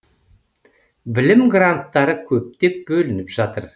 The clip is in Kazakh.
білім гранттары көптеп бөлініп жатыр